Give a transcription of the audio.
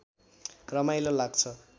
रमाइलो लाग्छ